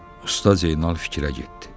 Usta Zeynal fikrə getdi.